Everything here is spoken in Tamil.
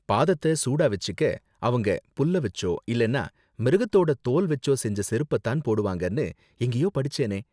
பாதத்த சூடா வெச்சிக்க, அவங்க புல்ல வெச்சோ இல்லன்னா மிருகத்தோட தோல் வெச்சோ செஞ்ச செருப்ப தான் போடுவாங்கனு எங்கேயோ படிச்சேனே.